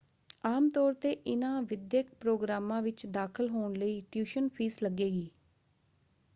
ਆਮ ਤੌਰ 'ਤੇ ਇਨ੍ਹਾਂ ਵਿਦਿਅਕ ਪ੍ਰੋਗਰਾਮਾਂ ਵਿੱਚ ਦਾਖਲ ਹੋਣ ਲਈ ਟਿਊਸ਼ਨ ਫੀਸ ਲੱਗੇਗੀ।